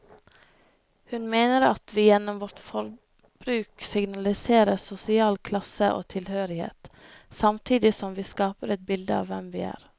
Hun mener at vi gjennom vårt forbruk signaliserer sosial klasse og tilhørighet, samtidig som vi skaper et bilde av hvem vi er.